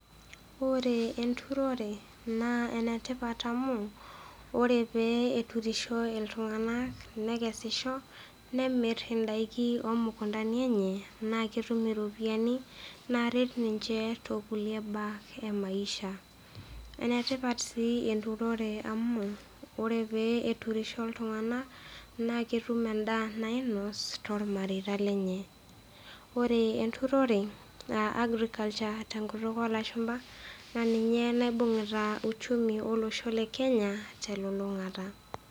Ore enturore naa enetipat amu ore pee eturisho iltung'ana, nekesisho nemir indaiki omukundani enye, naa ketum iropiani naret ninche tekulie baa emaisha. Enetipat sii enturore amu ore pee eturisho iltung'ana, naa ketum endaa nainos tolmareita lenye. Ore enturore a agriculture te nkutuk o lashumba, naa ninye naibung'ita uchumi olosho le Kenya telulung'ata.